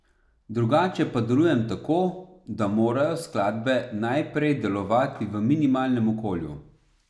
Drugače pa delujem tako, da morajo skladbe najprej delovati v minimalnem okolju.